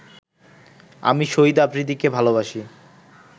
আমি শহীদ আফ্রিদিকে ভালোবাসি